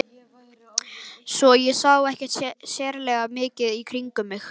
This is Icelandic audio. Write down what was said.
Svo ég sá ekki sérlega mikið í kringum mig.